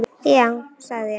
Já sagði ég.